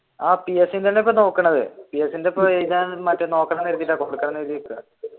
ആഹ് PSC തന്നെയാണ് ഇപ്പൊ നോക്കുന്നത്